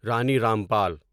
Rani Rampal